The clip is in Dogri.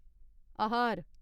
आहार